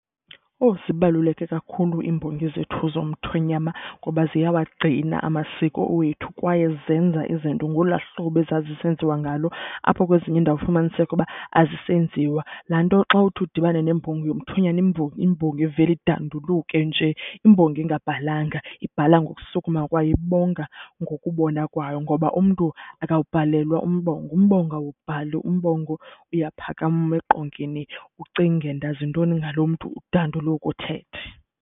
Owu! Zibaluleke kakhulu iimbongi zethu zomthonyama ngoba ziyawagcina amasiko wethu kwaye zenza izinto ngolwaa hlobo ezazisenziwa ngalo apho kwezinye iindawo ufumaniseke uba azisenziwa. Laa nto xa uthi udibane nembongi yomthonyane imbo, imbongi ivele idanduluke nje. Imbongi engabhalanga ibhala ngokusuma kwayo, ibonga ngokubona kwayo ngoba umntu akawubhalelwa umbongo, umbongo awuwubhali. Umbongo uyaphakama eqongeni ucinge ndazi ntoni ngaloo mntu, udanduluke uthethe.